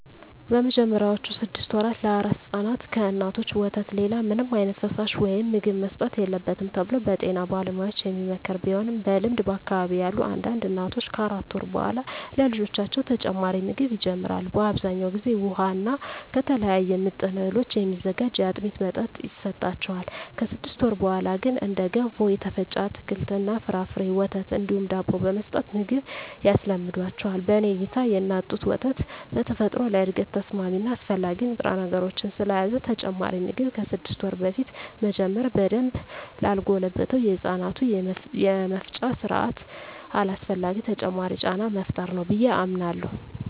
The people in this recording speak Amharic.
በመጀመሪያዎቹ ስድስት ወራ ለአራስ ሕፃናት ከእናቶች ወተት ሌላ ምንም ዓይነት ፈሳሽ ወይም ምግብ መሰጠት የለበትም ተብሎ በጤና ባለሙያዎች የሚመከር ቢሆንም በልምድ በአካባቢየ ያሉ አንዳንድ እናቶች ከአራት ወር በኃላ ለልጆቻቸው ተጨማሪ ምግብ ይጀምራሉ። በአብዛኛው ጊዜ ውሃ እና ከተለያዩ ምጥን እህሎች የሚዘጋጅ የአጥሚት መጠጥ ይሰጣቸዋል። ከስድስት ወር በኀላ ግን እንደ ገንፎ፣ የተፈጨ አትክልት እና ፍራፍሬ፣ ወተት እንዲሁም ዳቦ በመስጠት ምግብ ያስለምዷቸዋል። በኔ እይታ የእናት ጡት ወተት በተፈጥሮ ለእድገት ተስማሚ እና አስፈላጊ ንጥረነገሮችን ስለያዘ ተጨማሪ ምግብ ከስድስት ወር በፊት መጀመር በደንብ ላልጎለበተው የህፃናቱ የመፍጫ ስርአት አላስፈላጊ ተጨማሪ ጫና መፍጠር ነው ብየ አምናለሁ።